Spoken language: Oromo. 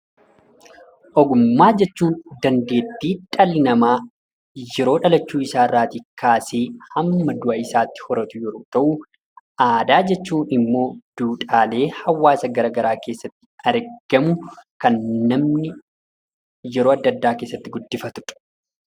Ogummaa jechuun dandeetti dhallli nama yeroo dhalachuu isaatii kaasee hamma du'a isaatti horatu yemmuu ta'u, aadaa jechuun ammoo duudhaalee hawaasa gara garaa keessatti argamu kan namni yeroo adda addaa keessatti guddifatudha.